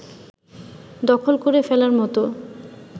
দখল করে ফেলার মত